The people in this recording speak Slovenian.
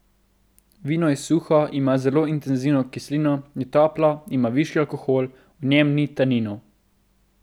Vino je suho, ima zelo intenzivno kislino, je toplo, ima višji alkohol, v njem ni taninov.